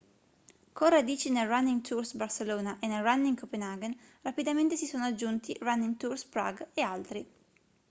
con radici nel running tours barcelona e nel running copenhagen rapidamente si sono aggiunti running tours prague e altri